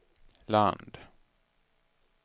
land